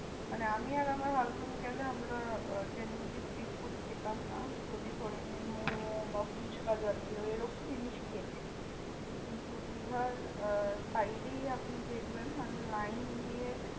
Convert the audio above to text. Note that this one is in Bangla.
মানে আমি আর আমার husband গেলে আমরা আহ street food খেতাম না। যদি ধরে নিন মোমো বা ফুচকা জাতীয় এরকম জিনিস খেয়েছি। কিন্তু দীঘার আহ side এই আপনি দেখবেন মানে line দিয়ে